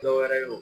Dɔwɛrɛ ye o